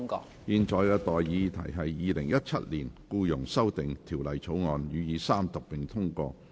我現在向各位提出的待議議題是：《2017年僱傭條例草案》予以三讀並通過。